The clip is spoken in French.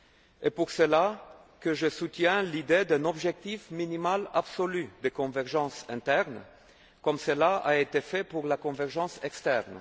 C'est pour cela que je soutiens l'idée d'un objectif minimal absolu de convergence interne, comme cela a été fait pour la convergence externe.